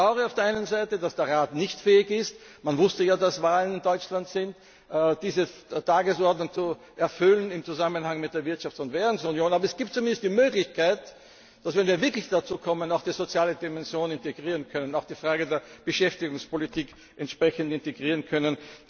Ich bedaure auf der einen Seite, dass der Rat nicht fähig ist man wusste ja, dass in Deutschland Wahlen anstehen diese Tagesordnung zu erfüllen im Zusammenhang mit der Wirtschafts und Währungsunion. Aber es gibt zumindest die Möglichkeit, dass wir, wenn wir wirklich dazu kommen, auch die soziale Dimension integrieren können und auch die Frage der Beschäftigungspolitik entsprechend integrieren können.